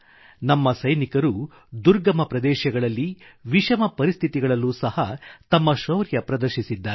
ನಮ್ಮ ಸೈನಿಕರುದುರ್ಗಮ ಪ್ರದೇಶಗಳಲ್ಲಿ ವಿಷಮ ಪರಿಸ್ಥಿತಿಗಳಲ್ಲೂ ಸಹ ತಮ್ಮ ಶೌರ್ಯಪ್ರದರ್ಶಿಸಿದ್ದಾರೆ